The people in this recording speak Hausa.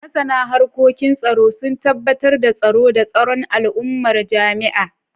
Masana harkokin tsaro sun tabbatar da tsaro da tsaron al’ummar jami’a.